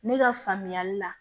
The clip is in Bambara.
Ne ka faamuyali la